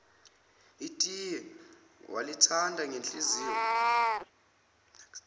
itiye wayelithanda ngenhliziyo